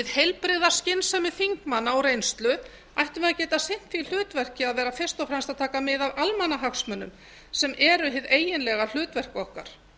heilbrigða skynsemi þingmanna og reynslu ættum við að geta sinnt því hlutverk að vera fyrst og fremst að taka mið af almannahagsmunum sem eru hið eiginlega hlutverk okkar